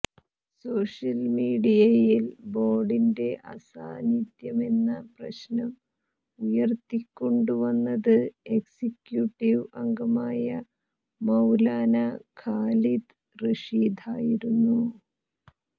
social മീഡിയയിൽ ബോർഡിന്റെ അസാന്നിധ്യമെന്ന പ്രശ്നം ഉയർത്തിക്കൊണ്ടു വന്നത് എക്സിക്യൂട്ടീവ് അംഗമായ മൌലാന ഖാലിദ് റഷീദായിരുന്നു